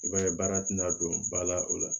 I b'a ye baara tɛna don ba la o la